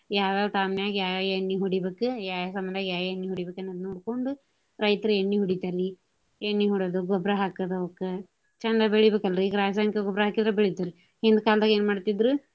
ಯಾವ ಯಾವ time ನ್ಯಾಗ ಯಾವ ಯಾವ ಎಣ್ಣಿ ಹೊಡಿಬೇಕು ಯಾವ ಯಾವ time ನ್ಯಾಗ ಯಾವ ಯಾವ ಎಣ್ಣಿ ಹೊಡೀಬೇಕ ನೋಡ್ಕೊಂಡು ರೈತರ ಎಣ್ಣಿ ಹೊಡಿತಾರಿ. ಎಣ್ಣಿ ಹೊಡೆದು ಗೊಬ್ಬರಾ ಹಾಕೋದು ಅವಕ್ಕ ಚಂದ ಬೆಳಿಬೇಕ ಅಲ್ರಿ ಈಗ ರಾಸಾಯನಿಕ ಗೊಬ್ರಾ ಹಾಕಿದ್ರ ಬೆಳಿತಾವ್ರಿ. ಈಗಿನ ಕಾಲ್ದಾಗೆ ಏನ್ ಮಾಡ್ತಾಇದ್ರು.